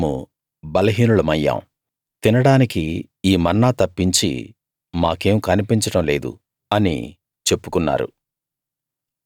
ఇప్పుడు మేము బలహీనులమయ్యాం తినడానికి ఈ మన్నా తప్పించి మాకేం కన్పించడం లేదు అని చెప్పుకున్నారు